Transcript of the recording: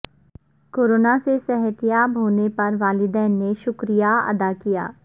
corona سے صحتیاب ہونے پر والدین نے شکریہ ادا کیا ہے